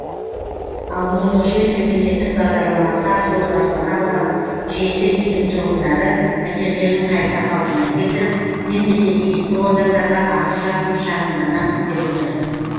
ал нұрлы жер мемлекеттік бағдарламасы арқылы баспана алған жеті үйдің тұрғындары пәтерлерін қайта қалпына келтіріп бермесе тиісті органдарға арыз жазып шағымданамыз деп отыр